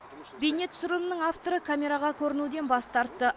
бейне түсірілімнің авторы камераға көрінуден бас тартты